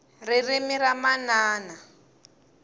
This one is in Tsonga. ririmi ra manana